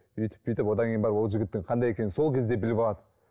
өйтіп бүйтіп одан кейін барып ол жігіттің қандай екенін сол кезде біліп алады